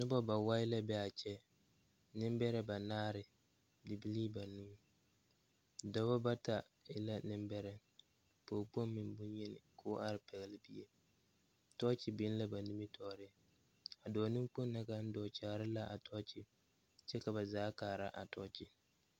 Noba bawae la be a kyɛ. Nembɛrɛ banaare, bibilii banuu. Dɔbɔ bata e la nembɛrɛ, pɔɔkpoŋ meŋ boŋ-yeni, koo are pɛgle bie, tɔɔkye biŋ la ba nimitɔɔre. A dɔɔ-neŋkpoŋ na kaŋ dɔɔ kyaare la a tɔɔkye, kyɛ baa kaara a tɔɔkye.